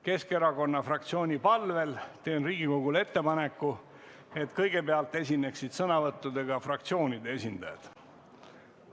Keskerakonna fraktsiooni palvel teen Riigikogule ettepaneku, et kõigepealt esineksid sõnavõttudega fraktsioonide esindajad.